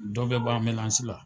Dɔ be b'an la.